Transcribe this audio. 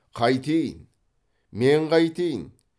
қайтейін мен қайтейін